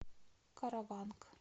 караванг